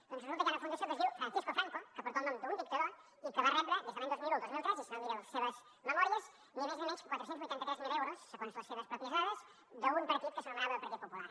doncs resulta que hi ha una fundació que es diu francisco franco que porta el nom d’un dictador i que va rebre des de l’any dos mil un al dos mil tres i si no miri les seves memòries ni més ni menys que quatre cents i vuitanta tres mil euros segons les seves pròpies dades d’un partit que s’anomenava partit popular